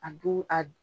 A dun a